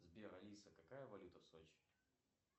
сбер алиса какая валюта в сочи